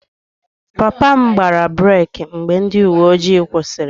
Papa m gbara breeki mgbe ndị uwe ojii kwụsịrị ya